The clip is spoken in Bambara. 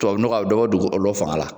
Tubabu nɔgɔ a bɛ dɔ dugu ɔlɔ fanga la.